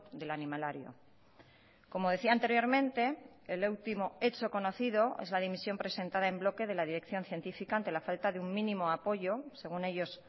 del animalario como decía anteriormente el último hecho conocido es la dimisión presentada en bloque de la dirección científica ante la falta de un mínimo apoyo según ellos